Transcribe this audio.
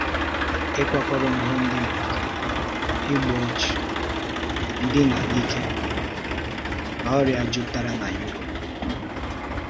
Ịkwakọrò ihe ndị mmadụ, igbu ọchụ, ndína n’ike, na ọrịa jupụtara na Europe.